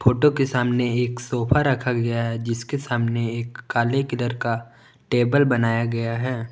Photo के सामने एक सोफा रखा गया है जिसके सामने एक काले कलर का टेबल बनाया गया है।